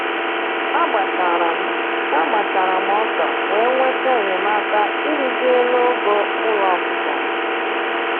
A gbachara m A gbachara m ọka wee nweta enyemaka ịrụzi elu ogo ụlọ ọkụkọ m